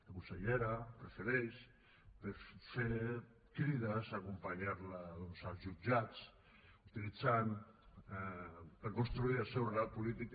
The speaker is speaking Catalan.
la consellera prefereix fer crides acompanyar los doncs als jutjats i utilitzar per construir el seu relat polític